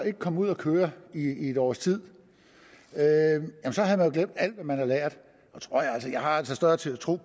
ikke kom ud at køre i en års tid havde man glemt alt hvad man havde lært jeg har altså større tiltro